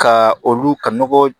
Ka olu ka nɔgɔ